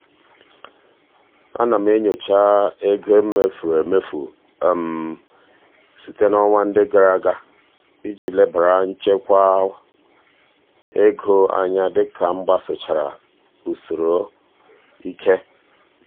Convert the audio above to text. ana m enyocha ego e mefuru emefu site n'ọnwa ndị gara aga iji lebara nchekwa ego anya dị ka m gbasochara usoro ike.